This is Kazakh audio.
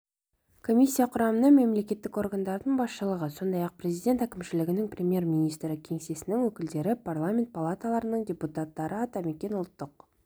комиссия құрамына мемлекеттік органдардың басшылығы сондай-ақ президент әкімшілігінің премьер-министрі кеңсесінің өкілдері парламент палаталарының депутаттары атамекен ұлттық